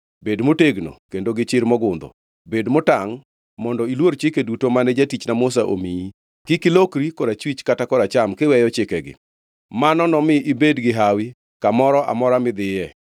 Bed motegno kendo gi chir mogundho. Bed motangʼ mondo iluor chike duto mane jatichna Musa omiyi; kik ilokri korachwich kata koracham kiweyo chikegi, mano nomi ibed gi hawi kamoro amora midhiye.